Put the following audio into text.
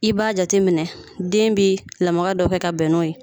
I b'a jateminɛ den bi lamaga dɔ kɛ ka bɛn n'o ye